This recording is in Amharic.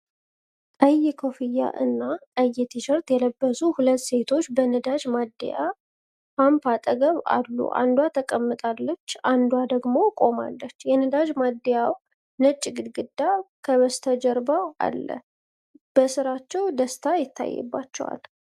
ቀይ ኮፍያእና ቀይ ቲሸርት የለበሱ ሁለት ሴቶች በነዳጅ ማደያ ፓምፕ አጠገብ አሉ። አንዷ ተቀምጣለች አንዷ ደሞ ቆማለች ። የነዳጅ ማደያ ው ነጭ ግድግዳ ከበስተጀርባው አለ። በሥራቸው ደስታ ይታይባቸዋል።